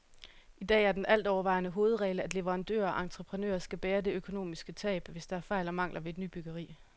I dag er den altovervejende hovedregel, at leverandører og entreprenører skal bære det økonomisk tab, hvis der er fejl og mangler ved et nybyggeri.